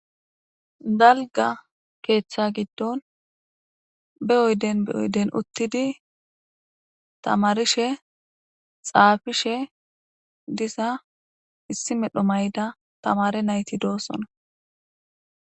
Galga keeththa giddon be oyden beoyden uttidi tamarishe xaafishe disa issi medho mayda tamare nayti doossona.